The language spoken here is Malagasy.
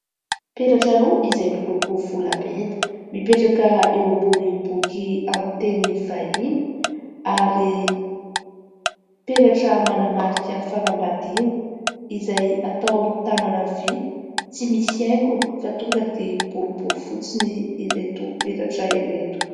Peratra roa izay miloko volamena mipetraka eo ambony boky amin'ny teny vahiny ary peratra manamarika fanambadiana izay atao amin'ny tanana havia. Tsy misy haingony fa tonga dia boribory fotsiny ireto peratra ireto.